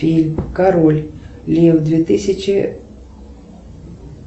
фильм король лев две тысячи